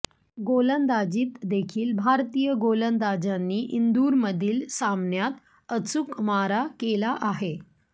गोलंदाजीत देखील भारतीय गोलंदाजांनी इंदूरमधील सामन्यात अचूक मारा केला आहे